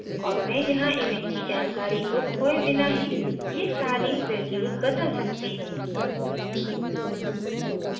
और मैं यहाँ image की जानकारी को खोये बिना ही ये सारी values बदल सकती हूँ